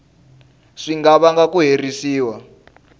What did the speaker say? swi nga vanga ku herisiwa